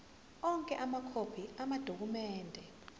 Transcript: onke amakhophi amadokhumende